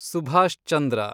Subhash Chandra